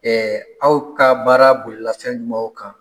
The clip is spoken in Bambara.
aw ka baara bolila fɛn jumaw kan?